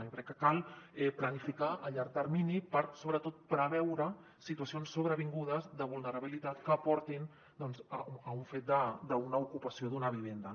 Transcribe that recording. jo crec que cal planificar a llarg termini per sobretot preveure situacions sobrevingudes de vulnerabilitat que portin doncs a un fet d’una ocupació d’una vivenda